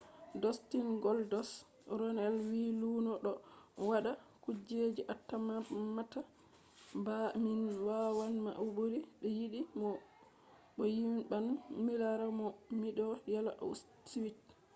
dostin goldost” ronels wi luno ɗo waɗa kujeji atammata ba min wawan ma o ɓuri mi yiɗi mo bo mi yiɗan milara mo miɗo yela o suiti